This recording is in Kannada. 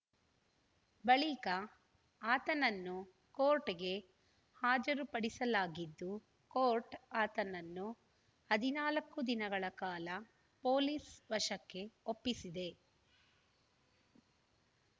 ಬಳಿಕ ಆತನನ್ನು ಕೋರ್ಟ್‌ಗೆ ಹಾಜರುಪಡಿಸಲಾಗಿದ್ದು ಕೋರ್ಟ್‌ ಆತನನ್ನು ಹದಿನಾಲ್ಕು ದಿನಗಳ ಕಾಲ ಪೊಲೀಸ್‌ ವಶಕ್ಕೆ ಒಪ್ಪಿಸಿದೆ